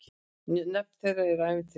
Nöfn þeirra eru ævintýraleg.